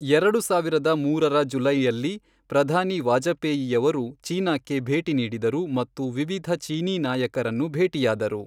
ಎರಡು ಸಾವಿರದ ಮೂರರ ಜುಲೈಯಲ್ಲಿ, ಪ್ರಧಾನಿ ವಾಜಪೇಯಿಯವರು ಚೀನಾಕ್ಕೆ ಭೇಟಿ ನೀಡಿದರು ಮತ್ತು ವಿವಿಧ ಚೀನೀ ನಾಯಕರನ್ನು ಭೇಟಿಯಾದರು.